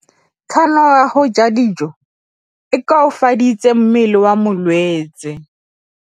Kganô ya go ja dijo e koafaditse mmele wa molwetse.